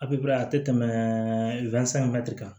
A bi baara a te tɛmɛ kan